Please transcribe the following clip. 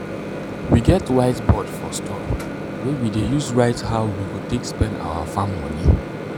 we get whiteboard for store wey we dey use write how we go take spend our farm money.